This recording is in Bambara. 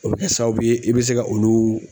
O bɛ kɛ sababu ye i bɛ se ka olu